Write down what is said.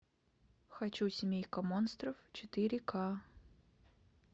хочу семейка монстров четыре к